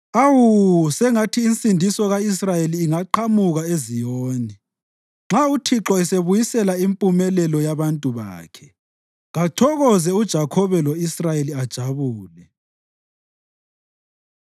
Awu, sengathi insindiso ka-Israyeli ingaqhamuka eZiyoni! Nxa uThixo esebuyisela impumelelo yabantu bakhe, kathokoze uJakhobe lo-Israyeli ajabule!